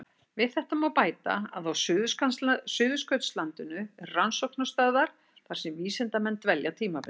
Við þetta má bæta að á Suðurskautslandinu eru rannsóknarstöðvar þar sem vísindamenn dvelja tímabundið.